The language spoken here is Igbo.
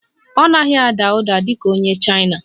Ọ naghị ada ụda dị ka onye Chaina?